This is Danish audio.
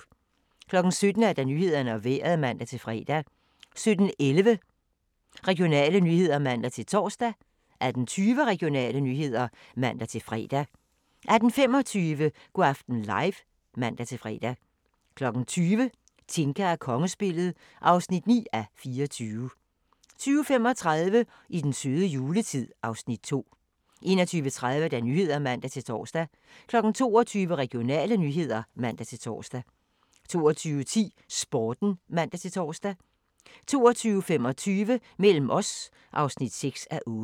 17:00: Nyhederne og Vejret (man-fre) 17:11: Regionale nyheder (man-tor) 18:20: Regionale nyheder (man-fre) 18:25: Go' aften live (man-fre) 20:00: Tinka og kongespillet (9:24) 20:35: I den søde juletid (Afs. 2) 21:30: Nyhederne (man-tor) 22:00: Regionale nyheder (man-tor) 22:10: Sporten (man-tor) 22:25: Mellem os (6:8)